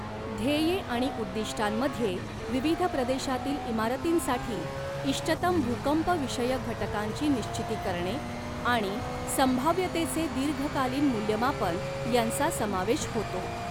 ध्येये आणि उद्दिष्टांमध्ये, विविध प्रदेशांतील इमारतींसाठी इष्टतम भूकंपविषयक घटकांची निश्चिती करणे आणि संभाव्यतेचे दीर्घकालीन मूल्यमापन यांचा समावेश होतो.